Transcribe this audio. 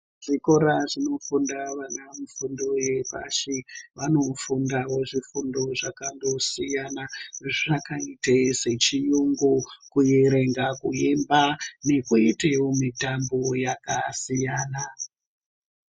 Zvikora zvinofunda vana vadodori vefundo yapashi vanofunda zvifundo zvakasiyana zvakaita sechiungu kuwerenga kuemba nekuitawo mitambo yakasiyana.